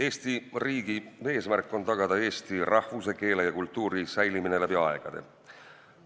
Eesti riigi eesmärk on tagada Eesti rahvuse, keele ja kultuuri säilimine läbi aegade.